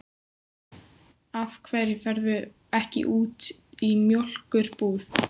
Af hverju ferðu ekki út í mjólkur- búð?